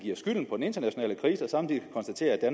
skylden på den internationale krise og samtidig konstaterer at